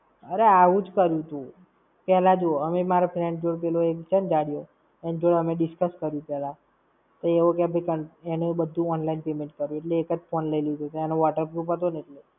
અરે આવુજ કર્યુંતું! પેલા જો અમે મારા friend જોડે, પેલો એક છે ને જાડિયો. એન જોડે અમે discuss કર્યું પેહલા. તો એવો કેય કે એનું બધું online payment કર્યું. એટલે એક જ phone લઇ લીધોતો એનો waterproof હતો ન એટલે.